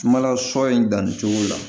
Sumala sɔ in danni cogo la